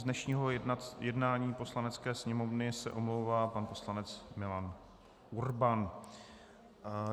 Z dnešního jednání Poslanecké sněmovny se omlouvá pan poslanec Milan Urban.